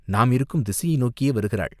நாம் இருக்கும் திசையை நோக்கியே வருகிறாள்!